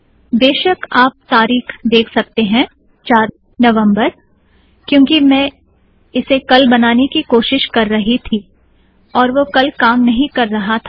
बेशक आप तारिख देख सकते है - चार नवम्बर - क्यूंकि मैं इसे कल बनाने की कोशिश कर रही थी और वह कल काम नहीं कर रहा था